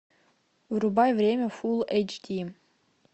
врубай время фулл эйч ди